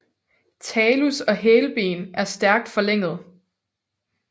Talus og hælben er stærkt forlænget